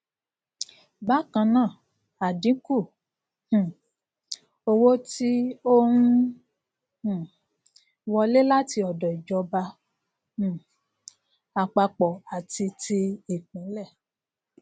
bákannáà ádínkù um owó tí ọ n um wọlé láti ọdọ ìjọba um àpapọ àti tí ìpínlẹ